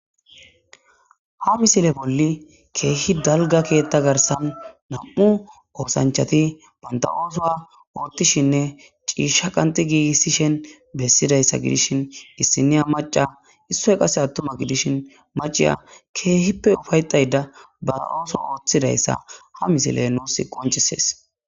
Ha misile bolli keehi dalga keetta garsan nam'u oosanchati banta oosoa oothtishinne ciisha qanti giigissishen bessidayssa gidishin issiniya maca issoy qase attuma gidishin maciya keehippe ufaytayda ba ooso ooththidayssa ha misile nuus qoncisees.